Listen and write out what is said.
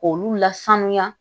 K'olu lasanuya